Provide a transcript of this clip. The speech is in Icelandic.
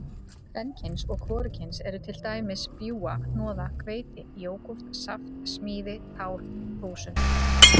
Kvenkyns og hvorugkyns eru til dæmis bjúga, hnoða, hveiti, jógúrt, saft, smíði, tál, þúsund.